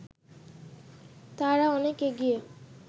তারা অনেক এগিয়ে